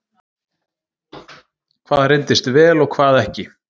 Hvað reyndist vel og hvað ekki?